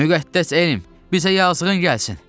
Müqəddəs elm, bizə yazıqın gəlsin.